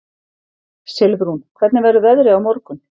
Silfrún, hvernig verður veðrið á morgun?